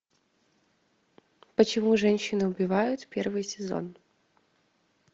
почему женщины убивают первый сезон